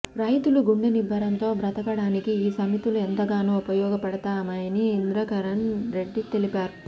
రైతులు గుండె నిబ్బరంతో బ్రతకడానికి ఈ సమితులు ఎంతగానో ఉపయోగపడతామని ఇంద్రకరణ్ రెడ్డి తెలిపారు